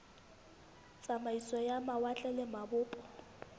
tsamaiso ya mawatle le mabopo